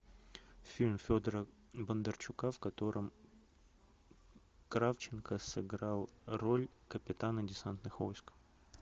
фильм федора бондарчука в котором кравченко сыграл роль капитана десантных войск